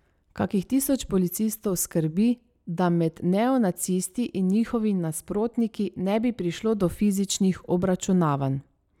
Kakih tisoč policistov skrbi, da med neonacisti in njihovimi nasprotniki ne bi prišlo do fizičnih obračunavanj.